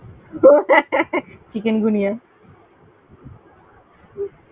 chikungunya